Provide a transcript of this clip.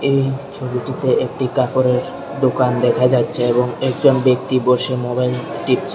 এই ছবিটিতে একটি কাপড়ের দোকান দেখা যাচ্ছে এবং একজন ব্যক্তি বসে মোবাইল টিপছে।